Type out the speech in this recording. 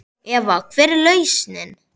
Eva: Hver er lausnin?